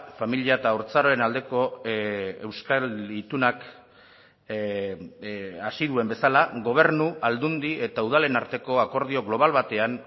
familia eta haurtzaroaren aldeko euskal itunak hasi duen bezala gobernu aldundi eta udalen arteko akordio global batean